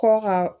Kɔ ka